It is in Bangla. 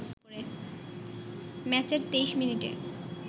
ম্যাচের ২৩ মিনিটে